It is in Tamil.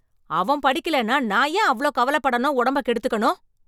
அவன் படிக்கலேன்னா நான் ஏன் அவ்ளோ கவலைப்படணும், உடம்ப கெடுத்துக்கணும்.